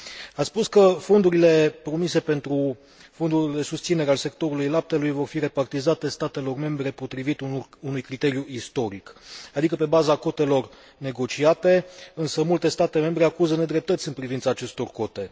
Ați spus că fondurile promise pentru fondurile de susținere al sectorului laptelui vor fi repartizate statelor membre potrivit unui criteriu istoric, adică pe baza cotelor negociate, însă multe state membre acuză nedreptăți în privința acestor cote.